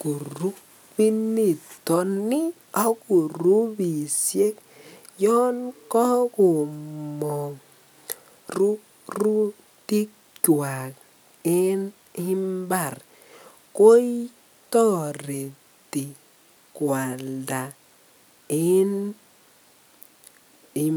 kurubiniton ak kurubishek yoon kokomong rurutikwak en mbar ko toreti kwalda en.